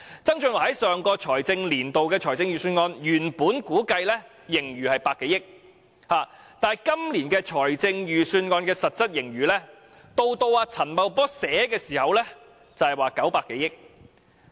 曾俊華在上個年度的預算案中，原估計今年盈餘有100多億元，但今年的實質盈餘到了陳茂波撰寫預算案時已有900多億元。